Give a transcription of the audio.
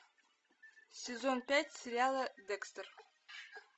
сезон пять сериала декстер